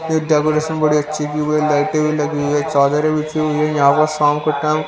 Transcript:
ये डेकोरेशन बड़ी अच्छी की हुई है लाइटें भी लगी हुई है चादर भी बिछी हुई है यहां पर शाम का टाइम --